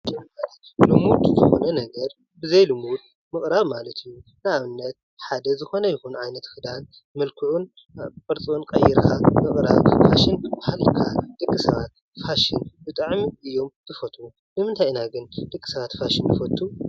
ልሙድ ፅቡቅ ነገር ብዘይ ንቡር ምቅራብ ማለት እዩ፡፡ ንአብነት ሓደ ዝኮነ ይኩን ዓይነት ክዳን መልክዑን ቅርፁን ቀይራ ምቅራብ ፋሽን ክበሃል ይከአል፡፡ ደቂ ሰባት ፋሽን ብጣዕሚ እዮም ዝፈትው፡፡ ንምንታይ ኢና ግን ደቂ ሰባት ፋሽን ንፈቱ?